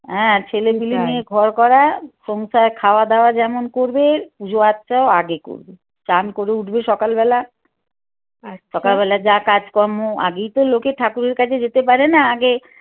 হ্যাঁ ছেলেপেলে নিয়ে ঘর করা সংসার খাওয়া দাওয়া যেমন করবে পুজো আচাও আগে করবে চান করে উঠবে সকালবেলা সকালবেলা যা কাজ কম্ম আগেই তো লোকে ঠাকুরের কাছে যেতে পারে না আগে